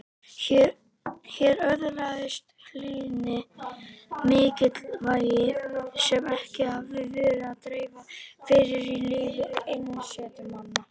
Hér öðlaðist hlýðni mikilvægi sem ekki hafði verið til að dreifa fyrr í lífi einsetumanna.